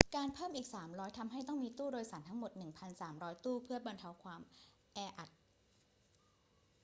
การเพิ่มอีก 300 ทำให้ต้องมีตู้โดยสารทั้งหมด 1,300 ตู้เพื่อบรรเทาความแออัด